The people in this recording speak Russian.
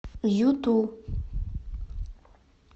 юту